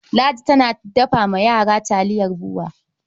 Ladi tana dafa wa yara taliyar BUA.